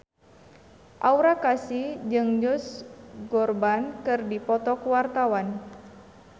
Aura Kasih jeung Josh Groban keur dipoto ku wartawan